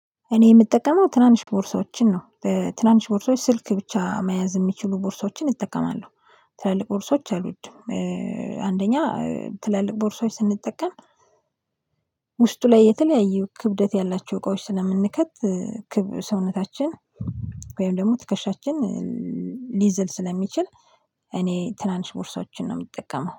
እኔ የምጠቀመው ትናንሽ ቦርሳዎችን ነው ትናንሽ ቦርሳዎች ስልክ ብቻ መያዝ የሚችሉ ቦርሳዎችን እጠቀማለሁ። ትላልቅ ቦርሳዎች አልወድም። አንደኛ ትላልቅ ቦርሳዎች ስንጠቀም ውስጡ ላይ የተለያየ ክብደት ያላቸው እቃዎች ስለምንከት ሰውነታችን ወይም ደግሞ ትከሻችን ሊዝል ስለሚችል። እኔ ትናንሽ ቦርሳዎችን ነው የምጠቀመው